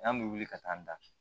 An bɛ wuli ka taa an da